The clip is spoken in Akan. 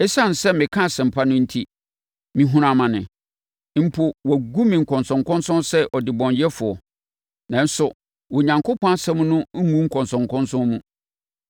Esiane sɛ meka Asɛmpa no enti, mehunu amane, mpo, wɔagu me nkɔnsɔnkɔnsɔn sɛ ɔdebɔneyɛfoɔ. Nanso, Onyankopɔn asɛm no ngu nkɔnsɔnkɔnsɔn mu;